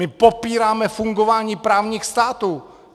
My popíráme fungování právních států!